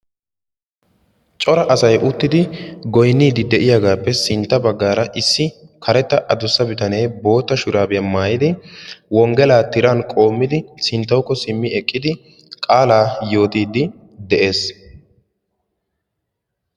cora asay uttidi goyniidim de'iyagaappe sintta bagaara karetta adussaa bitanee bootta shuraabiya maayid wongelaa tiran qoomidi sintawukko simi eqqidi qaalaa yootidi de'ees.